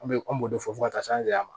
An bɛ an b'o de fɔ ka taa se an se ma